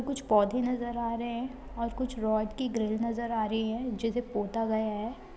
कुछ पौधे नज़र आ रहे हैं और कुछ रॉड की ग्रिल नज़र आ रही है जिसे पोता गया है।